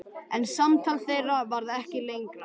En samtal þeirra varð ekki lengra.